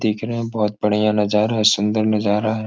देखने में बहुत बढ़िया नजारा सुन्दर नजारा हैं ।